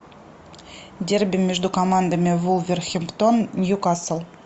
дерби между командами вулверхэмптон ньюкасл